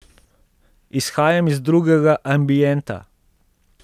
Izhajam iz drugega ambienta.